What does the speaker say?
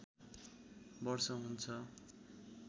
वर्ष हुन्छ